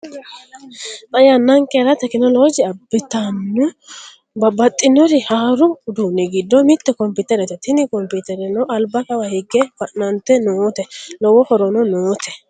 Xa yannanikerra tekkinolojje abittinno babbaxinori haaru udduni giddo mitte comipitterete tini comipittereno alibba Kawa higge fanannite noote lowo horono noote